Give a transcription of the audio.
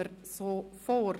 Dann gehen wir so vor.